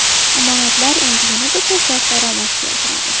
Omonatlar endi yanada ko‘proq daromad keltiradi.